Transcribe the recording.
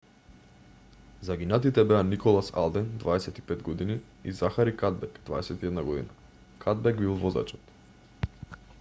загинатите беа николас алден 25 г и захари кадбек 21г кадбек бил возачот